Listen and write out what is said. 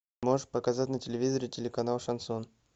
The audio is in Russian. можешь показать на телевизоре телеканал шансон